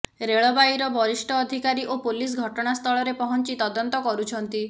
ରେଳବାଇର ବରିଷ୍ଠ ଅଧିକାରୀ ଓ ପୋଲିସ ଘଟଣାସ୍ଥଳରେ ପହଞ୍ଚି ତଦନ୍ତ କରୁଛନ୍ତି